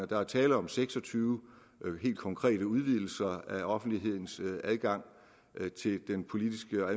der er tale om seks og tyve helt konkrete udvidelser af offentlighedens adgang til den politiske og